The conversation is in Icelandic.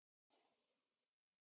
Sækja sjó eða skjóta fugl.